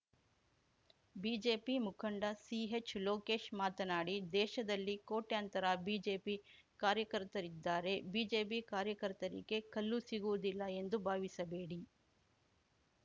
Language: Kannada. ಬಿಜೆಪಿ ಮುಖಂಡ ಸಿಹೆಚ್‌ ಲೋಕೇಶ್‌ ಮಾತನಾಡಿ ದೇಶದಲ್ಲಿ ಕೋಟ್ಯಂತರ ಬಿಜೆಪಿ ಕಾರ್ಯಕರ್ತರಿದ್ದಾರೆ ಬಿಜೆಪಿ ಕಾರ್ಯಕರ್ತರಿಗೆ ಕಲ್ಲು ಸಿಗುವುದಿಲ್ಲ ಎಂದು ಭಾವಿಸಬೇಡಿ